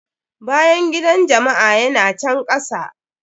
Bangidan jama'a ya na can kasa.